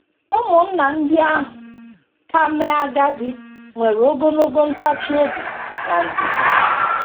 Ụmụnna ndị ahụ ka mee agadi nwere ogologo ntachi obi na ndidi.